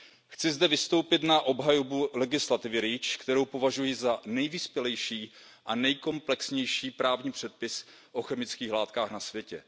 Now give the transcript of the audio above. Chci zde vystoupit na obhajobu legislativy REACH, kterou považuji za nejvyspělejší a nejkomplexnější právní předpis o chemických látkách na světě.